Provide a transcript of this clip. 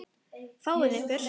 Fáið ykkur.